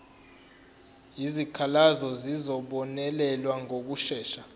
izikhalazo zizobonelelwa ngokushesha